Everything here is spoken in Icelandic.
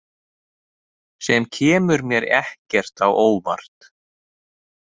Sem kemur mér ekkert á óvart.